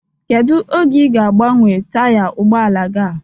Kedụ oge ị ga-agbanwe taya ụgbọala gị a?